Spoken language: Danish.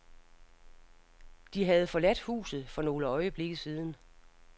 De havde forladt huset for nogle øjeblikke siden.